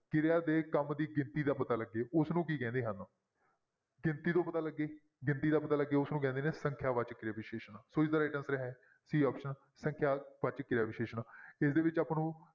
ਕਿਰਿਆ ਦੇ ਕੰਮ ਦੀ ਗਿਣਤੀ ਦਾ ਪਤਾ ਲੱਗੇ ਉਸਨੂੰ ਕੀ ਕਹਿੰਦੇ ਹਨ ਗਿਣਤੀ ਤੋਂ ਪਤਾ ਲੱਗੇ ਗਿਣਤੀ ਦਾ ਪਤਾ ਲੱਗੇ ਉਸਨੂੰ ਕਹਿੰਦੇ ਨੇ ਸੰਖਿਆ ਵਾਚਕ ਕਿਰਿਆ ਵਿਸ਼ੇਸ਼ਣ ਸੋ ਇਸਦਾ right answer ਹੈ c option ਸੰਖਿਆ ਵਾਚਕ ਕਿਰਿਆ ਵਿਸ਼ੇਸ਼ਣ ਇਸਦੇ ਵਿੱਚ ਆਪਾਂ ਨੂੰ